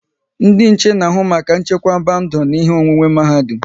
Ndị nche n'ahụ maka nchekwaba ndụ na ihe onwunwe n'mahadum